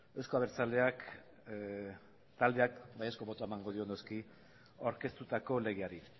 euzko abertzaleak taldeak baiezko botoa emango dio noski aurkeztutako legeari